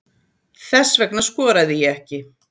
Þess vegna skoraði ég ekki